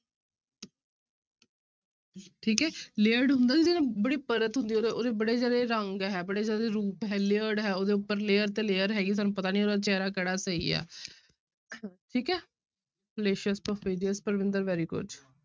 ਠੀਕ ਹੈ layered ਹੁੰਦਾ ਜਿਹੜਾ ਬੜੀ ਪਰਤ ਹੁੰਦੀ ਆ ਉਹਦਾ ਉਹਦੇ ਬੜੇ ਸਾਰੇ ਰੰਗ ਹੈ ਬੜੇ ਸਾਰੇ ਰੂਪ ਹੈ layered ਹੈ ਉਹਦੇ ਉੱਪਰ layer ਤੇ layer ਹੈਗੀ ਸਾਨੂੰ ਪਤਾ ਨੀ ਉਹਦਾ ਚਿਹਰਾ ਕਿਹੜਾ ਸਹੀ ਹੈ ਠੀਕ ਹੈ fallacious, perfidious Parvinder very good